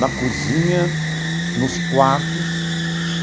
na cozinha, nos quartos.